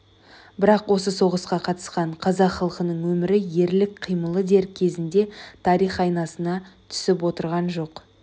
бірақ осы соғысқа қатысқан қазақ халқының өмірі ерлік қимылы дер кезінде тарих айнасына түсіп отырған жоқ